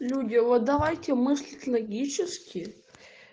люди вот давайте мыслить логически